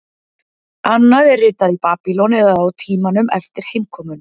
Annað er ritað í Babýlon eða á tímanum eftir heimkomuna.